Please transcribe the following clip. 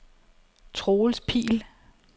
Troels Pihl